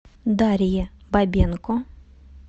дарье бабенко